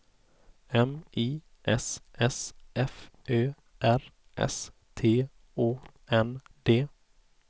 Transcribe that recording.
M I S S F Ö R S T Å N D